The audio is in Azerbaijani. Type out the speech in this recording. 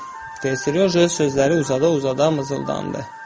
Deyir Serjoja sözləri uzada-uzada mızıldandı.